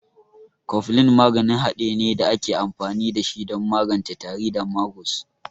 Koflin maganin hade ne da ake amfani da shi don magance tari da magus.